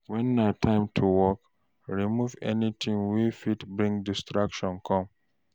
When na time for work, remove anything wey fit bring distraction come